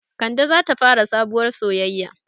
Kande zata fara sabuwar soyaya